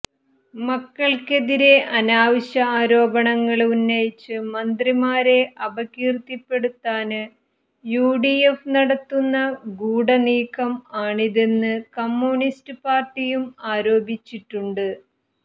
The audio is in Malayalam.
മക്കള്ക്കെതിരെ അനാവശ്യ ആരോപണങ്ങള് ഉന്നയിച്ച് മന്ത്രിമാരെ അപകീര്ത്തിപ്പെടുത്താന് യുഡിഎഫ് നടത്തുന്ന ഗൂഡനീക്കം ആണിതെന്ന് കമ്യൂണിസ്റ്റ് പാര്ട്ടിയും ആരോപിച്ചിട്ടുണ്ട്